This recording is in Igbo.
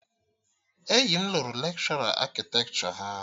Enyi m lụrụ lekshọra akịtekshọ ya